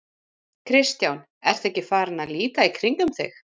Kristján: Ertu ekki farinn að líta í kringum þig?